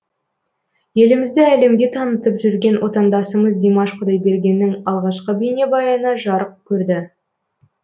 елімізді әлемге танытып жүрген отандасымыз димаш құдайбергеннің алғашқы бейнебаяны жарық көрді